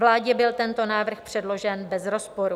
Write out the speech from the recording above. Vládě byl tento návrh předložen bez rozporu.